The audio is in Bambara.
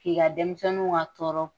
K'i ka denmisɛnninw ka tɔɔrɔ